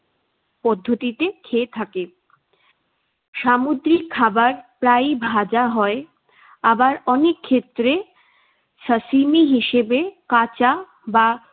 পদ্ধতিতে খেয়ে থাকে। সামুদ্রিক খাবার প্রায়ই ভাজা হয়। আবার অনেক ক্ষেত্রে সাসিমী হিসেবে কাঁচা বা